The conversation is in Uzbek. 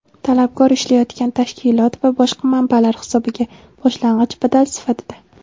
talabgor ishlayotgan tashkilot va boshqa manbalar hisobiga (boshlang‘ich badal sifatida);.